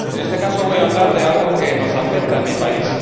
En este caso, voy a hablar de algo que nos afecta en mi país.